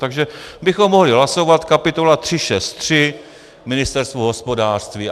Takže bychom mohli hlasovat kapitola 363 Ministerstvo hospodářství.